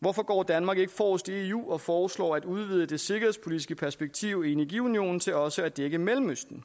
hvorfor går danmark ikke forrest i eu og foreslår at udvide det sikkerhedspolitiske perspektiv i energiunionen til også at dække mellemøsten